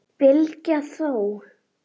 Bylgja þó!